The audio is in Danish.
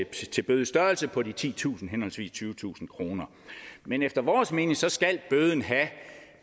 til bødestørrelse på de titusind henholdsvis tyvetusind kroner men efter vores mening skal bøden have